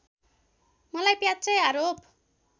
मलाई प्याच्चै आरोप